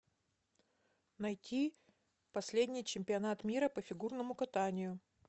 найти последний чемпионат мира по фигурному катанию